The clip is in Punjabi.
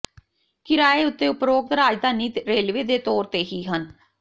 ਕਿਰਾਏ ਉੱਤੇ ਉਪਰੋਕਤ ਰਾਜਧਾਨੀ ਰੇਲਵੇ ਦੇ ਤੌਰ ਤੇ ਹੀ ਹਨ